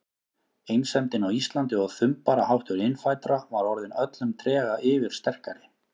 Einsemdin á Íslandi og þumbaraháttur innfæddra var orðin öllum trega yfirsterkari.